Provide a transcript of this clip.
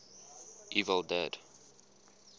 evil dead